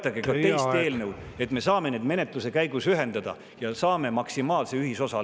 … toetage ka teist eelnõu, et me saaksime need menetluse käigus ühendada ja leida maksimaalse ühisosa.